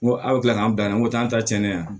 N ko aw bɛ tila k'an bila yan nɔ ko n'an ta cɛnnen ye yan